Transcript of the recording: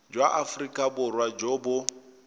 jwa aforika borwa jo bo